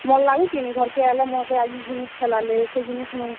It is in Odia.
ଭଲ୍ ଲାଗୁଛେ କିନି, ଘରକେ ଆଏଲେ ମତେ ଆଜି ଇ ଜିନିଷ ଖେଲାଲେ, ସେ ଜିନିଷ୍ ମୁଇଁ।